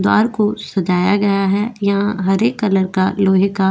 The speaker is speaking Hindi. द्वार को सजाया गया है यहां हरे कलर का लोहे का --